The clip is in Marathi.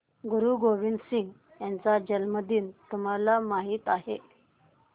गुरु गोविंद सिंह यांचा जन्मदिन तुम्हाला माहित आहे